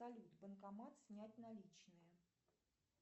салют банкомат снять наличные